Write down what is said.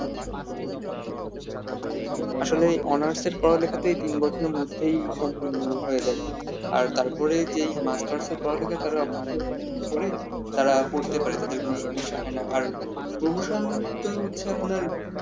আসলে অনার্সের পড়ালেখাতেই তিন বছরের মধ্যেই সম্পূর্ণ হয়ে যায় আর তারপরে যেই মাস্টার্স পড়ালেখা তারা পরেই তারা পড়তে পারে তাদের কোন সমস্যা হয় না আর promotion তো হচ্ছে আপনার